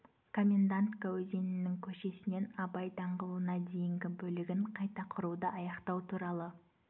комендантка өзенінің көшесінен абай даңғылына дейінгі бөлігін қайта құруды аяқтау туралы